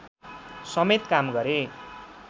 समेत काम गरे